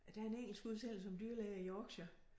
Der er en engelsk udsendelse om dyrlæger i Yorkshire